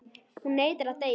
Hún neitar að deyja.